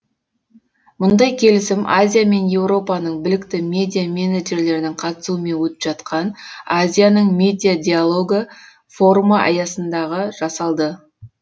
мұндай келісім азия мен еуропаның білікті медиаменеджерлерінің қатысуымен өтіп жатқан азияның медиа диалогы форумы аясындағы жасалды